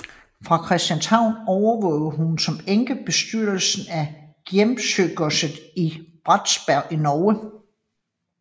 Fra Christianshavn overvågede hun som enke bestyrelsen af Gjemsøgodset i Bratsberg i Norge